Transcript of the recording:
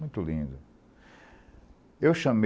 Muito lindo. Eu chamei